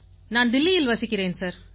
நான் தில்லியில் வசிக்கிறேன் சார்